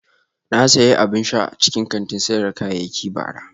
Na sayi abin sha a cikin kantin sayar da kayayyaki bara